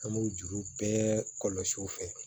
An b'o juru bɛɛ kɔlɔsi u fɛ